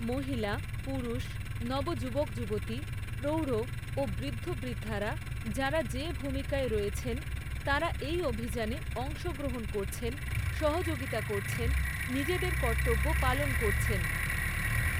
মহিলা, পুরুষ, নব যুবক যুবতী, প্রৌঢ় ও বৃদ্ধ বৃদ্ধারা, যাঁরা যে ভূমিকায় রয়েছেন, তাঁরা এই অভিযানে অংশগ্রহণ করছেন, সহযোগিতা করছেন, নিজেদের কর্তব্য পালন করছেন।